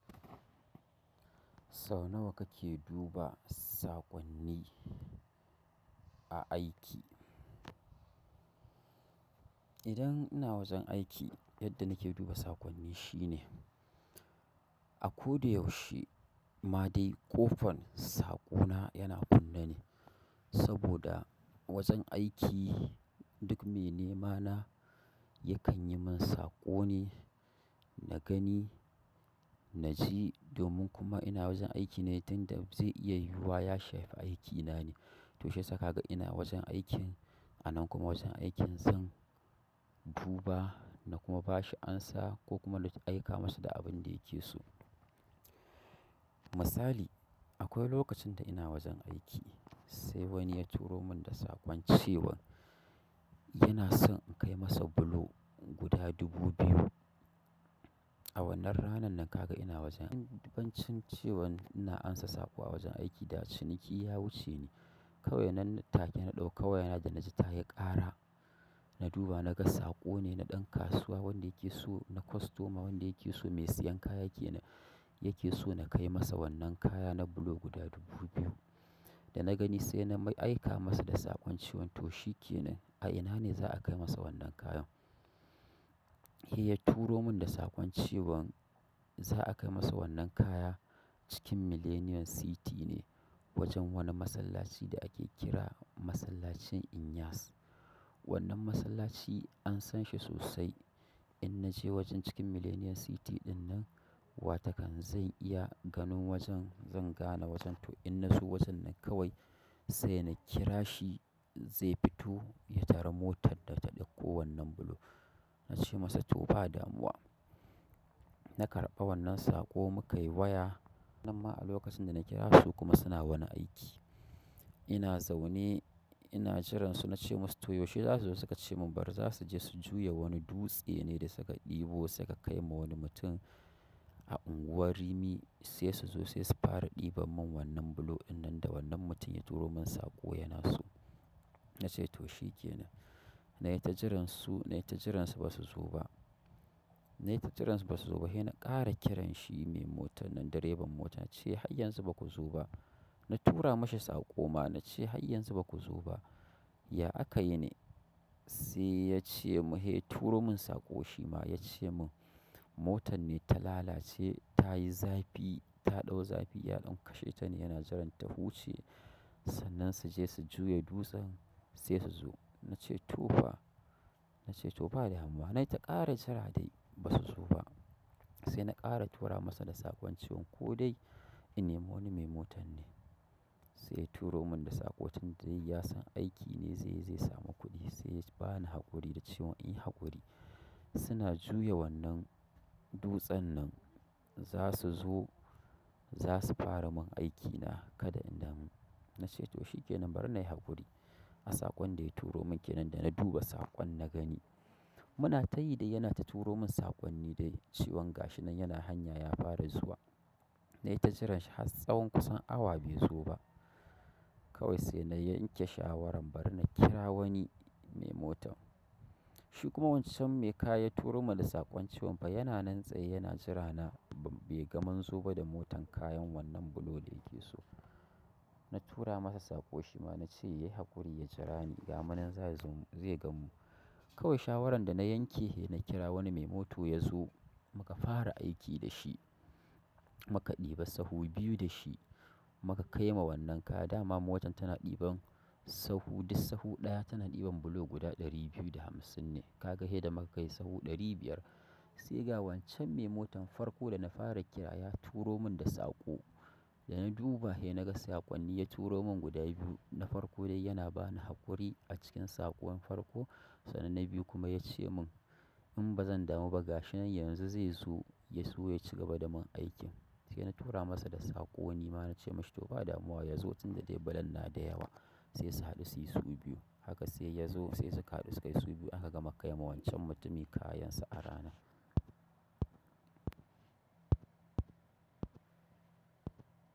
Sau nawa kake duba saƙonni a aiki? Idan ina wajen aiki yadda nake duba saƙonni shine, a ko da yaushe ma dai ƙofan saƙona yana kunne ne. Saboda a wajen aiki duk me nema na yakan yi min saƙo ne, na gani, na ji domin kuma ina wajen aiki ne, inda zai iya yiwuwa ya shafe aikina ne. To shi sakaga ina wajen aikin a nan kuma wajen aikin zan duba na kuma ba shi amsa ko kuma na aika masa da abin da yake so. Misali akwai lokacin da ina wajen aiki sai wani ya turo mun da saƙon cewan yana son in kai masa bulo guda dubu biyu. A wannan ranan nan ka ga ina wajen. Ɗiban cin cewan ina amsa saƙo a wajen aiki da ciniki ya wuce ni. Kawai wannan taken na ɗauka wayana da na ji ta yi ƙara, na duba na ga saƙo ne na ɗan kasuwa wanda yake so na kostoma wanda yake so mai siyan kaya yake, yake so na kai masa wannan kaya na bulo guda dubu biyu. Da na gani sai na mai aika masa da saƙon cewan to shikenan a ina ne za'a kai masa wannan kayan? Eh ya turo mun da saƙon cewan za'a kai masa wannan kaya cikin Millennium City ne wajen wani masallaci da ake kira Masallacin Inyas. Wannan masallaci an san shi sosai. In na je wajen cikin Millennium City dinnan watakan zai iya ganin wajen zan gane wajen to in na so wajen nan kawai sai na kira shi zai fito ya tara motar da ta ɗauko wannan bulo. Na ce masa to ba damuwa. Na karɓa wannan saƙo muka yi waya. Wannan ma a lokacin da na kira su kuma suna wani aiki. Ina zaune ina jiran su na ce musu to yaushe za su zo? Suka ce mun bari za su je su juya wani dutse ne da suka ɗebo suka kai ma wani mutum a unguwar Rimi sai su zo sai su fara ɗiba mun wannan bulo dinnan da wannan mutum ya turo mun saƙo yana so. Na ce to shikenan. Na yi ta jiran su, na yi ta jiran su ba su zo ba. Na yi ta jiran su ba su zo ba. Eh na ƙara kiran shi mai motan nan direban mota na ce har yanzu baku zo ba. Na tura mashi saƙo ma na ce har yanzu baku zo ba. Ya aka yi ne? Sai ya ce mun eh turo mun saƙo shi ma ya ce mun motan ne ta lalace, ta yi zafi ta ɗau zafi. Ya ɗauka shaitani yana jiran ta huce sannan su je su juya dutsen sai su zo. Na ce to fa, na ce to ba damuwa. Na yi ta ƙara jira dai ba su zo ba. Sai na ƙara tura masa da saƙon cewan ko dai ina wani mai motan ne. Sai ya turomin da sako tunda dai yasan aikin ne zaiyi zai samu kuɗi sai ya bani haƙuri na haƙuri da cewan inyi haƙuri suna juye wan nan dutsen nan zasu zo zasu faramin aikina kada in damu na ce to shikenan bari na yi haƙuri. A saƙon da ya turo mun ke nan da na duba saƙon na gani. Muna tayi dai yana ta turomin da sako cewan gashi nan yana hanya ya fara zuwa na yi ta jiransa har tsawon kusan awa bai zo ba. Kawai sai na yanke shawarar bari na kira wani mai mota. Shi kuma wancan mai kaya ya turo mun da saƙon cewan fa yana nan tsaye yana jira na bai ga mun zo ba da motan kayan wannan bulo da yake so. Na tura masa sako shima cewa yayi haƙuri ya jirani gamu nan za'a ganmu kawai shawaran dana yanke nakira wani mai moto yazo muka fara aiki dashi muka ɗiba sahu biyu da shi muka kai ma wannan kaya. Da ma motar tana ɗiban sahu, duk sahu ɗaya tana ɗiban bulo guda ɗari biyu da hamsin ne. Kaga sai da munkai sahu ɗari biyar kawai sai ga wancan me motan farko na fara kira ya turomin da sako da na duba he na ga saƙonni ya turo mun guda biyu na farko dai yana bani haƙuri a cikin saƙon farko sannan na biyu kuma ya ce mun in ba zan damu ba gashin nan yanzu zai zo ya so ya ci gaba da mun aikin. Sai na tura masa da saƙo ni ma na ce mashi to ba damuwa ya zo tun da dai bulan na da yawa sai su haɗu su yi su biyu. Haka sai ya zo sai suka haɗu suka yi su biyu aka gama kai ma wancan mutumin kayansa a rana.